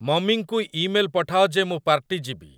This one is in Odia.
ମମିଙ୍କୁ ଇମେଲ ପଠାଅ ଯେ ମୁଁ ପାର୍ଟୀ ଯିବି